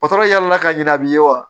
yɛlɛla ka ɲina a bi ye wa